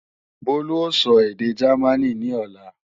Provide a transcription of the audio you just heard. Bólú ó sọ èdè Jámínì ní ọ̀la